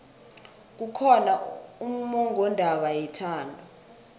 kukhona ummongondaba yethando